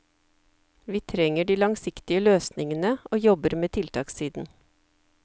Vi trenger de langsiktige løsningene, og jobber med tiltakssiden.